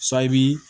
Sayi bi